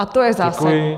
A to je zásada.